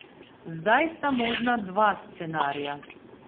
Zdaj sta možna dva scenarija.